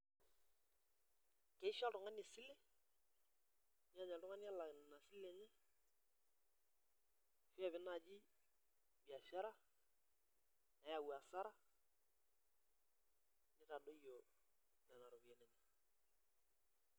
Keisho oltungani esile neej oltungani elaki ina sile ine nepiki najai biashara neyau asra nitadoyio Nena ropiyiani inonok.